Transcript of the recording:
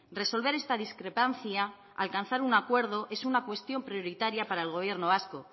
resolver esta discrepancia alcanzar un acuerdo es una cuestión prioritaria para el gobierno vasco